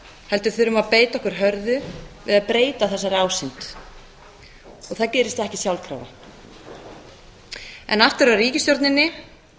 heldur þurfum að beita okkur hörðu við að breyta þessari ásýnd og það gerist ekki sjálfkrafa en aftur að ríkisstjórninni